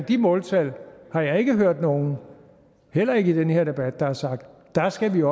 de måltal har jeg ikke hørt nogen heller ikke i den her debat der har sagt at der skal vi